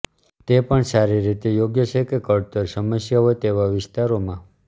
તે પણ સારી રીતે યોગ્ય છે કળતર સમસ્યા હોય તેવા વિસ્તારોમાં